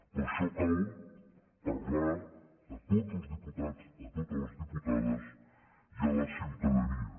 per això cal parlar a tots els diputats a totes les diputades i a la ciutadania